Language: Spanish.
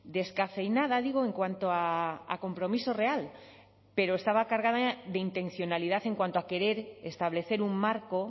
descafeinada digo en cuanto a compromiso real pero estaba cargada de intencionalidad en cuanto a querer establecer un marco